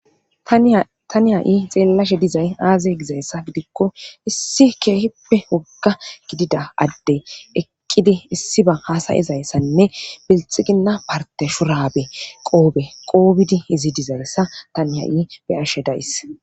tani ha7i xeellashe dizay aaze gizayssa gidikko issi keeheppe wogga gidida adde eqqidi issi ba haasayezayssanne bilxiginna parte shurabe qoobe qoobidi izi dizagessa tani ha7i be ashe dayss